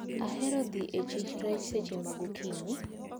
Ahero dhi e chich rech seche ma gokinyi.